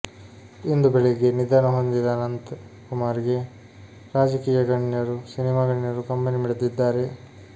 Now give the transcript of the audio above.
ಇಂದು ಬೆಳಗ್ಗೆ ನಿಧನ ಹೊಂದಿದ ಅನಂತ್ ಕುಮಾರ್ ಗೆ ರಾಜಕೀಯ ಗಣ್ಯರು ಸಿನಿಮಾ ಗಣ್ಯರು ಕಂಬನಿಮಿಡಿದಿದ್ದಾರೆ